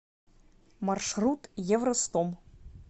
маршрут евростом